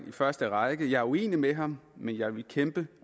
i første række jeg er uenig med ham men jeg vil kæmpe